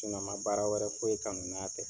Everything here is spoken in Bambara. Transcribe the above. n man baara wɛrɛ foyi kanu n'a tɛ.